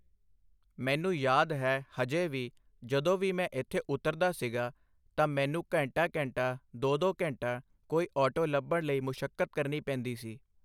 ਮੈਨੂੰ ਯਾਦ ਹੈ ਹਜੇ ਵੀ ਜਦੋਂ ਵੀ ਮੈਂ ਇੱਥੇ ਉਤਰਦਾ ਸੀਗਾ ਤਾਂ ਮੈਨੂੰ ਘੰਟਾ ਘੰਟਾ ਦੋ ਦੋ ਘੰਟਾ ਕੋਈ ਆਟੋ ਲੱਭਣ ਲਈ ਮੁਸ਼ੱਕਤ ਕਰਨੀ ਪੈਂਦੀ ਸੀ